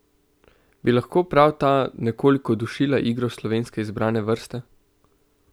Bi lahko prav ta nekoliko dušila igro slovenske izbrane vrste?